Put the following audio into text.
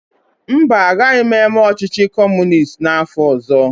Mba, agaghị m eme ọchịchị Kọmunist n'afọ ọzọ.